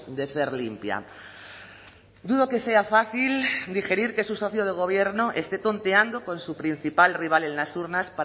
de ser limpia dudo que sea fácil digerir que su socio de gobierno esté tonteando con su principal rival en las urnas